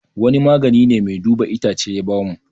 Wani magani ne mai duba itacce ya ba mu